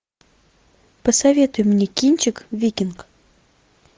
посоветуй мне кинчик викинг